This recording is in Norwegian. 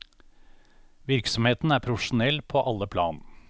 Virksomheten er profesjonell på alle plan.